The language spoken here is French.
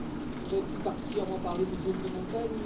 Je vais plus particulièrement parler des zones de montagne.